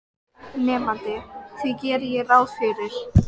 Nemandi: Því geri ég ráð fyrir